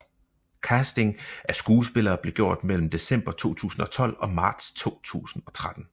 Casting af skuespillere blev gjort mellem december 2012 og marts 2013